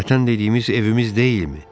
Vətən dediyimiz evimiz deyilmi?